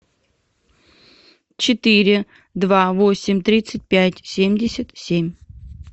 четыре два восемь тридцать пять семьдесят семь